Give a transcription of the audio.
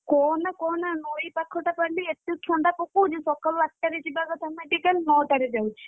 କହନା କହନାନଈ ପାଖଟା ବୋଲି ଏତେ ଥଣ୍ଡା ପକଉଛି ସକାଳୁ ଆଠଟାରେ ଯିବା କଥା medical ନଅଟାରେ ଯାଉଛି।